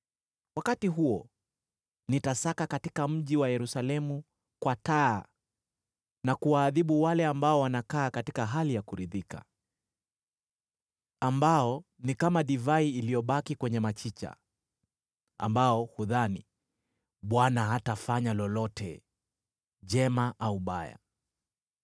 Wakati huo nitasaka mji wa Yerusalemu kwa taa, na kuwaadhibu wale ambao wanakaa katika hali ya kuridhika, ambao ni kama divai iliyobaki kwenye machicha, ambao hudhani, ‘ Bwana hatafanya lolote, jema au baya.’